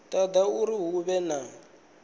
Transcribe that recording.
toda uri hu vhe na